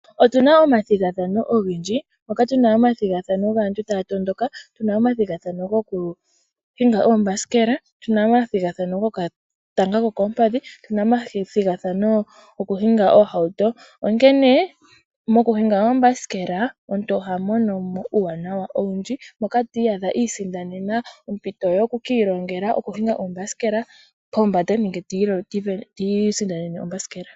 Otuna omathigathano ogendji, mokatuna omathigathano gaanntu taatondoka, tuna omathigathano gokuhinga oombasikela, tuna omathigathano gokatanga kokoompadhi, tuna omathigathano gokuhinga oohauto onkene mokuhinga oombasike omuntu ohamonomo uuwanawa owundji moka tiiyadha iisindanena ompito yokukiilongela okuhinga oombasikela pombanda nenge tiisindanene ombasikela.